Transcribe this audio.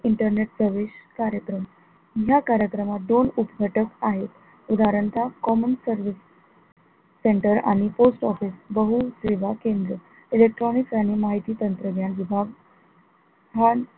internet service कार्यक्रम या कार्यक्रमात दोन उपघटक आहेत उदाह्रणतः common service center आणि post office बहूसेवा केंद्र electronics आणि माहिती तंत्रज्ञान विभाग हा,